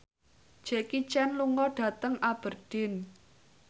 Jackie Chan lunga dhateng Aberdeen